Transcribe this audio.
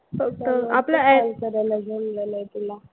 फक्त call करायला जमलं नाही तुला.